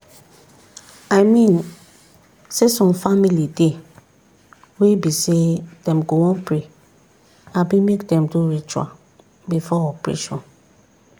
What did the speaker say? i mean saysome family dey wey be say dem go wan pray abi make dem do ritual before operation.